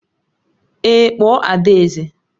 Èé, kpọọ adaeze